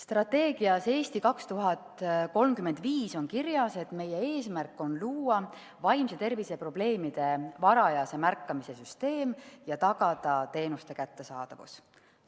Strateegias "Eesti 2035" on kirjas, et meie eesmärk on luua vaimse tervise probleemide varajase märkamise süsteem ja tagada teenuste kättesaadavus.